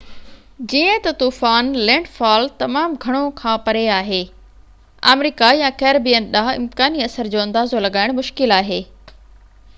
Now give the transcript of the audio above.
جيئن ته طوفان لينڊ فال تمام گهڻو کان پري آهي آمريڪا يا ڪيريبين ڏانهن امڪاني اثر جو اندازو لڳائڻ مشڪل آهي